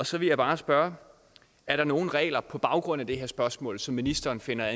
så vil jeg bare spørge er der nogen regler på baggrund af det her spørgsmål som ministeren finder